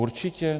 Určitě?